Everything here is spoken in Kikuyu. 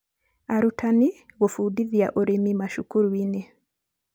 arutanĩ gũbundithia ũrĩmi macukuru inĩ